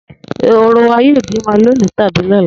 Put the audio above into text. Ehoro wa yóò bímọ lónìí tàbí lọ́la